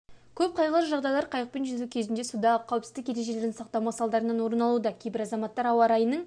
көп қайғылы жағдайлар қайықпен жүзу кезінде судағы қауіпсіздік ережелерін сақтамау салдарынан орын алуда кейбір азаматтар ауа-райының